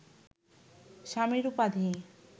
স্বামীর উপাধি